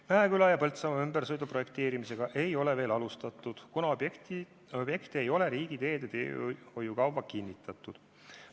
Mäeküla ja Põltsamaa ümbersõidu projekteerimisega ei ole veel alustatud, kuna objektid ei ole riigiteede teehoiukavas kinnitatud.